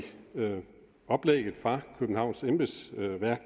oplægget fra københavns kommunes embedsværk er